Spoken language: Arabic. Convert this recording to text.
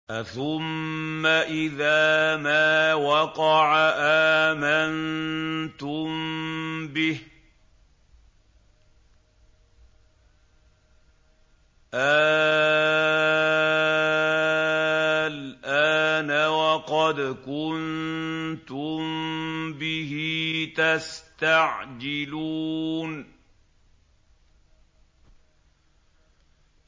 أَثُمَّ إِذَا مَا وَقَعَ آمَنتُم بِهِ ۚ آلْآنَ وَقَدْ كُنتُم بِهِ تَسْتَعْجِلُونَ